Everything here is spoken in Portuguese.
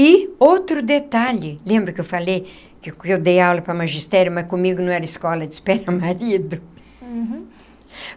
E, outro detalhe, lembra que eu falei que que eu dei aula para magistério, mas comigo não era escola de espera marido? Uhum.